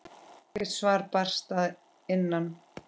Ekkert svar barst að innan.